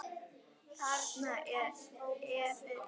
Þarna er efinn.